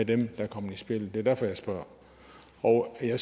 dem der kom i spjældet det er derfor jeg spørger og ja